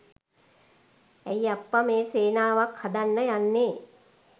ඇයි අප්පා මේ සේනාවක් හදන්න යන්නේ.